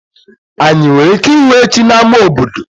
Anyị nwere ike ịhụ echi na-ama obodo?